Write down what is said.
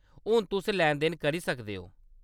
हून तुस लैन-देन करी सकदे ओ।